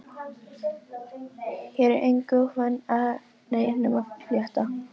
Hér er engu ofan af neinum að fletta.